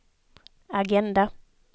agenda